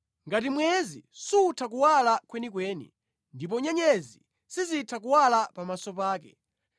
Ngati mwezi sutha kuwala kwenikweni, ndipo nyenyezi sizitha kuwala pamaso pake,